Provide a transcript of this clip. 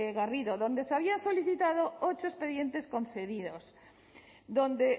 garrido donde se habían solicitado ocho expedientes concedidos donde